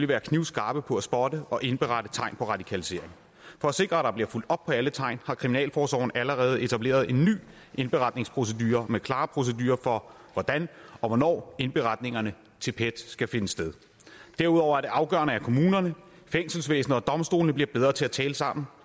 være knivskarpe på at spotte og indberette tegn på radikalisering for at sikre at der bliver fulgt op på alle tegn har kriminalforsorgen allerede etableret en ny indberetningsprocedure med klare procedurer for hvordan og hvornår indberetningerne til pet skal finde sted derudover er det afgørende at kommunerne fængselsvæsenet og domstolene bliver bedre til at tale sammen